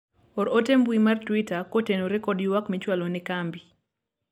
or ote mbui mar twita kotenore kod ywak michwalo ne kambi